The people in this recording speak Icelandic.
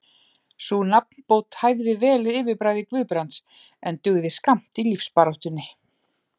Sú nafnbót hæfði vel yfirbragði Guðbrands, en dugði skammt í lífsbaráttunni.